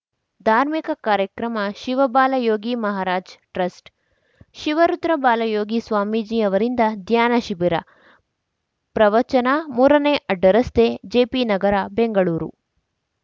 ಧಾರ್ಮಿಕ ಕಾರ್ಯಕ್ರಮ ಶಿವಬಾಲಯೋಗಿ ಮಹಾರಾಜ್‌ ಟ್ರಸ್ಟ್‌ ಶಿವರುದ್ರಬಾಲಯೋಗಿ ಸ್ವಾಮೀಜಿ ಅವರಿಂದ ಧ್ಯಾನ ಶಿಬಿರ ಪ್ರವಚನ ಮೂರನೇ ಅಡ್ಡ ರಸ್ತೆ ಜೆಪಿನಗರ ಬೆಂಗಳೂರು